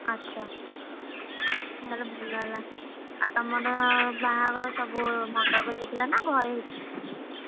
ଆଚ୍ଛା! ତାହେଲେ ଭଲ ହେଲା। ଆଉ ତମର ବାହାଘର ସବୁ ମଣ୍ଡପରେ ହେଇଥିଲା ନା ଘରେ ହେଇଥିଲା?